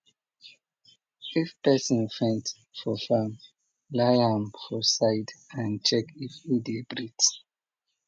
if person faint for farm lie am for side and check if e dey breathe